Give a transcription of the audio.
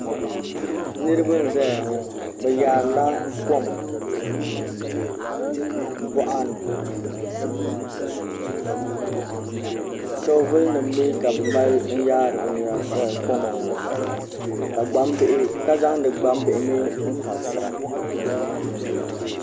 Niraba n ʒɛya ŋo bi yaarila kom boɣani soobuli nim mii ka bi mali n yaari koma ŋo ka zaŋdi gbambihi mii n karisira